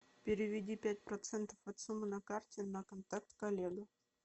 переведи пять процентов от суммы на карте на контакт коллега